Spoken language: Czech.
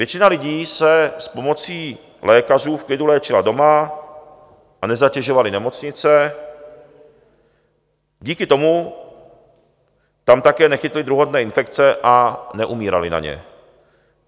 Většina lidí se s pomocí lékařů v klidu léčila doma a nezatěžovali nemocnice, díky tomu tam také nechytli druhotné infekce a neumírali na ně.